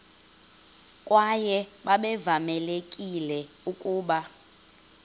kwaye babevamelekile ukuba